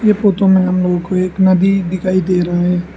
ये फोटो में हमलोगों को एक नदी दिखाई दे रहा है।